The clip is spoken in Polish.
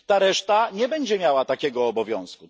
Ta reszta nie będzie miała takiego obowiązku.